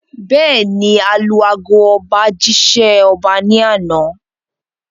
Bẹ́ẹ̀ni, alu ago ọba jí ṣẹ́ ọba ní àná